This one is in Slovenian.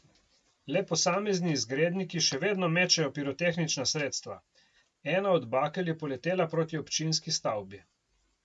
Le posamezni izgredniki še vedno mečejo pirotehnična sredstva, ena od bakel je poletela proti občinski stavbi.